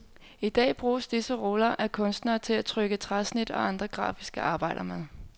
Han I dag bruges disse ruller af kunstnere til at trykke træsnit og andre grafiske arbejder med.